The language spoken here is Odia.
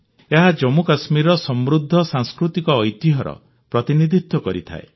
ଏହା ଜମ୍ମୁକଶ୍ମୀରର ସମୃଦ୍ଧ ସାଂସ୍କୃତିକ ଐତିହ୍ୟର ପ୍ରତିନିଧିତ୍ୱ କରିଥାଏ